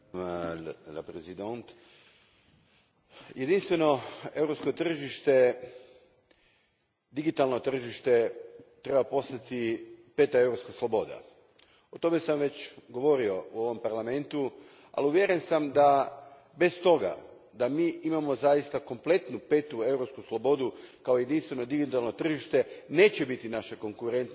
Gospođo predsjednice, jedinstveno europsko tržište, digitalno tržište treba postati peta europska sloboda. O tome sam već govorio u ovom Parlamentu, ali uvjeren sam da bez toga mi imamo zaista kompletnu petu europsku slobodu kao jedinstveno digitalno tržište, neće biti naše konkurentnosti